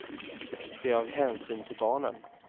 Det är av hänsyn till barnen.